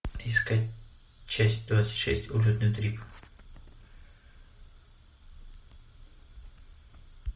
искать часть двадцать шесть улетный трип